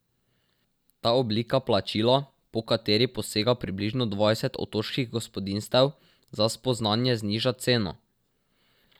Ta oblika plačila, po kateri posega približno dvajset otoških gospodinjstev, za spoznanje zniža ceno.